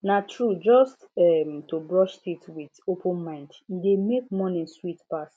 na true just um to brush teeth with open mind e dey make morning sweet pass